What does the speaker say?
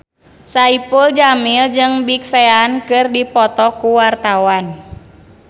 Saipul Jamil jeung Big Sean keur dipoto ku wartawan